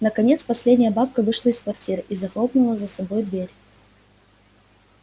наконец последняя бабка вышла из квартиры и захлопнула за собой дверь